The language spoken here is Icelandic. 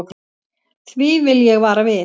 Því vil ég vara við.